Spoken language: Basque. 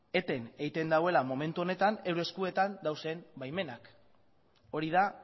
eten egiten duela momentu honetan euren eskuetan dauden baimenak hori da